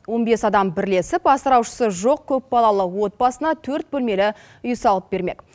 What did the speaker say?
он бес адам бірлесіп асыраушысы жоқ көпбалалы отбасына төрт бөлмелі үй салып бермек